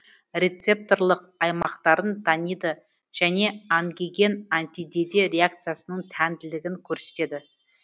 рецепторлық аймақтарын таниды және ангиген антидеде реакциясының тәнділігін көрсетеді